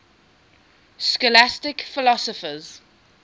scholastic philosophers